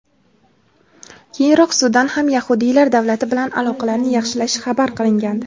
Keyinroq Sudan ham yahudiylar davlati bilan aloqalarni yaxshilashi xabar qilingandi.